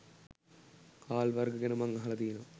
හාල් වර්ග ගැන මං අහල තියනව